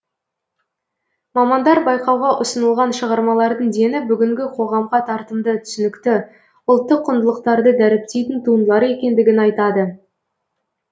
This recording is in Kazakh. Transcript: мамандар байқауға ұсынылған шығармалардың дені бүгінгі қоғамға тартымды түсінікті ұлттық құндылықтарды дәріптейтін туындылар екендігін айтады